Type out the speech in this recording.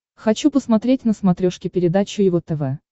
хочу посмотреть на смотрешке передачу его тв